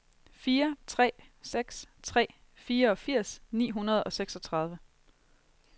fire tre seks tre fireogfirs ni hundrede og seksogtredive